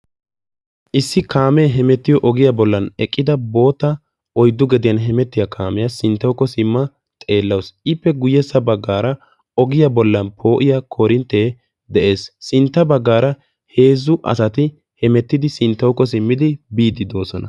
issi kaamee hemettiyo ogiyaa bollan eqqida boota oyddu gediyan hemettiyaa kaamiyaa sinttawukko simma xeellawus ippe guyyessa baggaara ogiyaa bollan poo'iya korinttee de'ees sintta baggaara heezzu asati hemettidi sinttawukko simmidi biiddi doosona